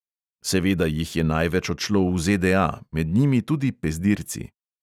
Seveda jih je največ odšlo v ZDA, med njimi tudi pezdirci.